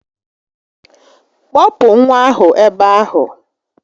Kpọpụ nwa ahụ ebe ahụ